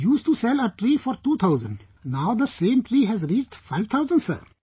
Used to sell a tree for 2000, now the same tree has reached 5000 sir